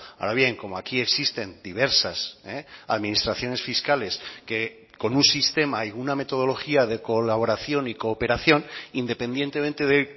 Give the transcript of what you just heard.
ahora bien como aquí existen diversas administraciones fiscales que con un sistema y una metodología de colaboración y cooperación independientemente de